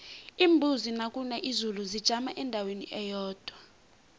iimbuzi nakuna izulu zijama endaweni eyodwa